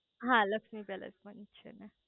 હા લક્ષ્મી પેલેસ પણ છે